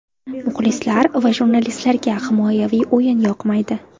Muxlislar va jurnalistlarga himoyaviy o‘yin yoqmaydi.